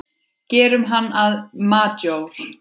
Gerum hann að majór.